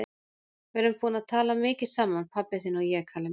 Við erum búin að tala mikið saman, pabbi þinn og ég, Kalli minn.